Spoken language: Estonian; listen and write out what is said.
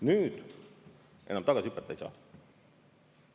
Nüüd enam tagasi hüpata ei saa.